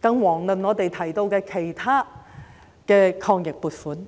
更遑論我們提到的其他抗疫撥款。